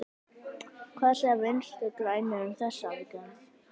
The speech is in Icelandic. Hvað segja Vinstri-grænir um þessa aðgerð?